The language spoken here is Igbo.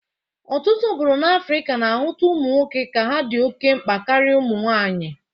Ọtụtụ obodo n'Afrika na-ahụta ụmụ nwoke ka ha dị oke mgba karị ụmụnwaanyị.